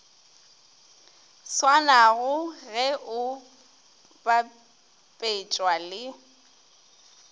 swanago ge o bapetšwa le